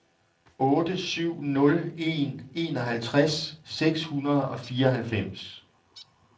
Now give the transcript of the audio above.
otte syv nul en enoghalvtreds seks hundrede og fireoghalvfems